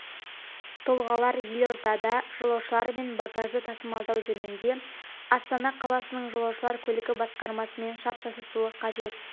тұлғалар елордада жолаушылар мен багажды тасымалдау жөнінде астана қаласының жолаушылар көлігі басқармасымен шарт жасасуы қажет